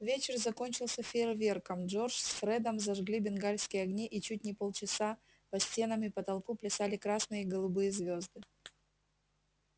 вечер закончился фейерверком джордж с фредом зажгли бенгальские огни и чуть не полчаса по стенам и потолку плясали красные и голубые звёзды